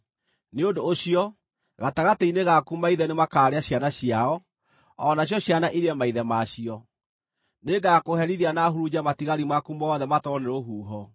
Nĩ ũndũ ũcio, gatagatĩ-inĩ gaku maithe nĩmakaarĩa ciana ciao, o nacio ciana irĩe maithe ma cio. Nĩngakũherithia, na hurunje matigari maku mothe matwarwo nĩ rũhuho.